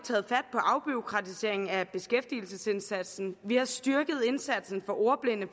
afbureaukratisering af beskæftigelsesindsatsen vi har styrket indsatsen for ordblinde